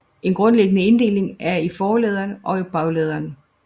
En grundlæggende inddeling er i forladere og bagladere